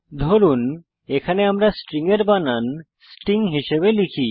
ধরুন এখানে আমরা স্ট্রিং এর বানান স্টিং হিসাবে লিখি